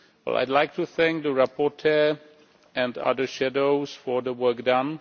I would like to thank the rapporteur and other shadows for the work done.